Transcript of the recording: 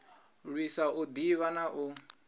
lwisa u ḓivha na u